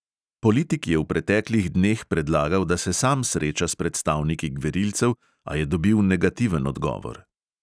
Politik je v preteklih dneh predlagal, da se sam sreča s predstavniki gverilcev, a je dobil negativen odgovor.